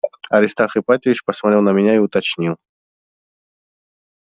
аристарх ипатьевич посмотрел на меня и уточнил